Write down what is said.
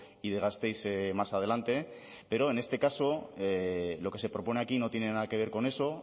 y de gasteiz más adelante pero en este caso lo que se propone aquí no tiene nada que ver con eso